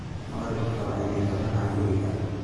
Makhribka waa inay guriga ka baxaan.